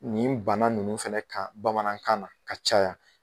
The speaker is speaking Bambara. Nin bana ninnu fana ka Bamanankan na ka caya.